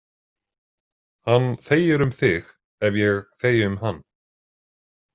Hann þegir um þig ef ég þegi um hann.